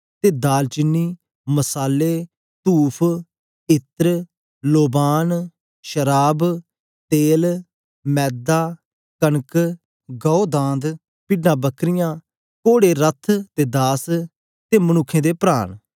ते दाल चीनी मसाले तूफ इन्न लोबान शराव तेल मैदा कनक गाए दांद पिड्डांबकरीयां कोड़े रथ ते दास ते मनुक्खें दे प्राण